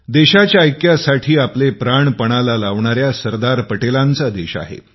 देशाच्या ऐक्यासाठी आपले प्राणपणाला लावणाऱ्या सरदार पटेलांचा देश आहे